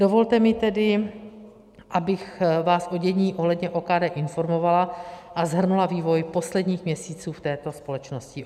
Dovolte mi tedy, abych vás o dění ohledně OKD informovala a shrnula vývoj posledních měsíců v této společnosti.